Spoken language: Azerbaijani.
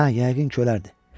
Hə, yəqin ki, ölərdi.